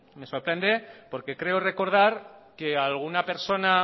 me sorprende porque creo recordar que alguna persona